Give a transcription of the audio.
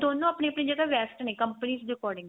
ਦੋਨੋ ਆਪਣੀ ਆਪਣੀ ਜਗ੍ਹਾ best ਨੇ companies ਦੇ according